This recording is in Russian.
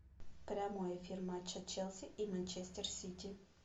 прямой эфир матча челси и манчестер сити